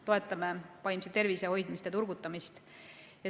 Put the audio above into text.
Toetame vaimse tervise hoidmist ja turgutamist.